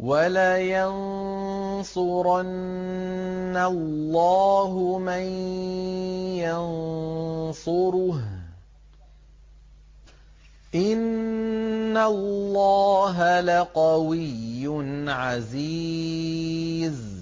وَلَيَنصُرَنَّ اللَّهُ مَن يَنصُرُهُ ۗ إِنَّ اللَّهَ لَقَوِيٌّ عَزِيزٌ